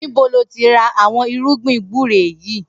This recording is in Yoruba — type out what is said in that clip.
Nibò lòtí rà awọn irùgbín gbùré yi